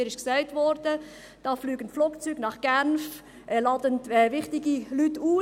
Mir wurde gesagt, dass Flugzeuge nach Genf fliegen und dort wichtige Leute ausgeladen werden;